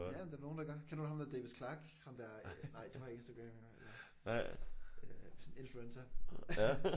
Ja ja men det er der nogen der gør. Kender du ham der Davis Clarke? Ham der nej du har jo ikke Instagram jo øh sådan en influencer